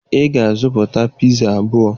Ị ga-azụta piza abụọ